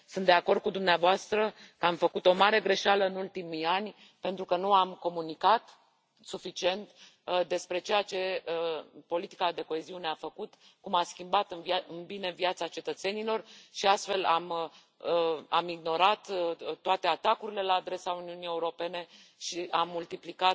Sunt de acord cu dumneavoastră că am făcut o mare greșeală în ultimii ani, pentru că nu am comunicat suficient despre ceea ce a făcut politica de coeziune, cum a schimbat în bine viața cetățenilor și, astfel, am ignorat toate atacurile la adresa Uniunii Europene și